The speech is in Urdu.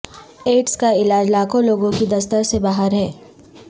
ایڈز کا علاج لاکھوں لوگوں کی دسترس سے باہر ہے